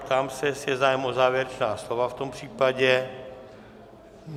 Ptám se, jestli je zájem o závěrečná slova v tom případě.